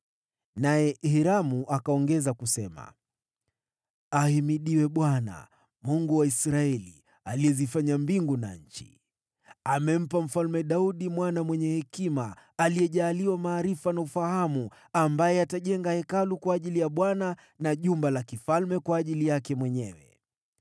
Naye Hiramu akaongeza kusema: “Ahimidiwe Bwana , Mungu wa Israeli aliyezifanya mbingu na nchi! Amempa Mfalme Daudi mwana mwenye hekima, aliyejaliwa maarifa na ufahamu, ambaye atajenga Hekalu kwa ajili ya Bwana , na jumba la kifalme kwa ajili yake mwenyewe.